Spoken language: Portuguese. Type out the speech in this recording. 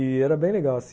E era bem legal, assim